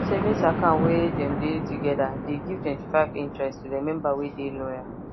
savings account wey dem de together de give 25 interest to the member wey de loyal